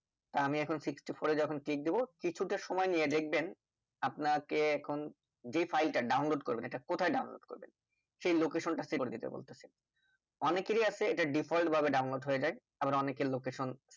তা আমি এখন sixty four যখন click দেব কিছু তা সময় নিয়ে দেখবেন আপনাকে এখন যে file তা download করবেন এটা কোথায় download করবেন সেই location তা select করে বলতেছে অনেকেরেই আছে এটি default ভাবে download হয়ে যাই আবার অনেকের location